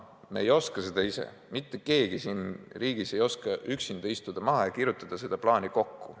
Me ei oska seda ise, mitte keegi siin riigis ei oska üksinda maha istuda ja seda plaani kokku kirjutada.